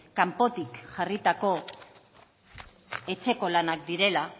kanpotik jarritako etxeko lanak direla